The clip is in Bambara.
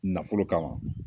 Nafolo kama